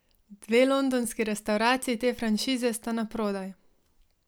Dve londonski restavraciji te franšize sta naprodaj.